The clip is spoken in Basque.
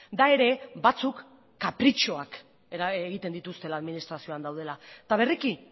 da ere batzuk kapritxoak egiten dituztela administrazioan daudela eta berriki